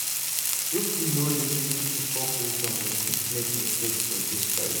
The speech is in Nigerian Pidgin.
If we no lis ten to folk wisdom, we fit make mistake for dis life.